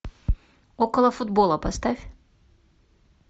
около футбола поставь